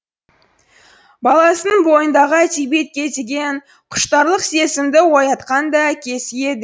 баласының бойындағы әдебиетке деген құштарлық сезімді оятқан да әкесі еді